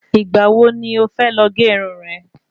Ìgbà wo ni o fẹ lọ gé Irun rè?